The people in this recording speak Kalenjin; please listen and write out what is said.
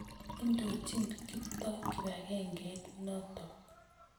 Indochin Kiptoo kipakengeit notok